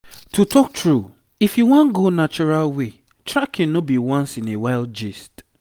to talk true if you wan go natural way tracking no be once in a while gist.